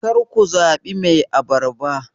kar ku zaɓi Mai abarba